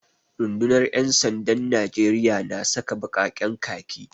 Rundunar ‘yan sandan Najeriya na saka baƙaƙen khaki